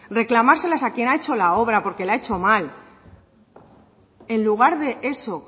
reclamárselas a quien ha hecho la obra porque la ha hecho mal en lugar de eso